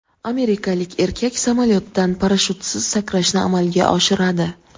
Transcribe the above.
Amerikalik erkak samolyotdan parashyutsiz sakrashni amalga oshiradi.